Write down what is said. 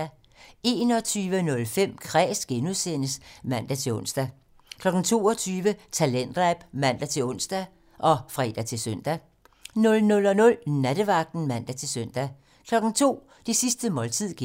21:05: Kræs (G) (man-ons) 22:05: Talentlab (man-ons og fre-søn) 00:00: Nattevagten (man-søn) 02:00: Det sidste måltid (G)